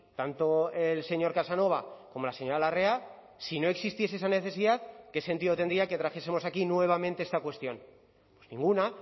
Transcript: tanto el señor casanova como la señora larrea si no existiese esa necesidad qué sentido tendría que trajesemos aquí nuevamente esta cuestión ninguna